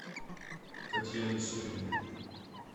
татьяне суриной